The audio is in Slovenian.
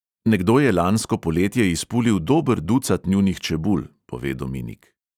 Nekdo je lansko poletje izpulil dober ducat njunih čebul, pove dominik.